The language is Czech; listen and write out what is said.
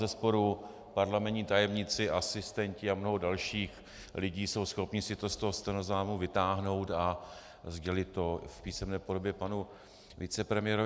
Bezesporu parlamentní tajemníci, asistenti a mnoho dalších lidí jsou schopni si to z toho stenozáznamu vytáhnout a sdělit to v písemné podobě panu vicepremiérovi.